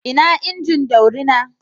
Ina injin daurina?